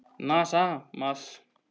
NASA- Mars.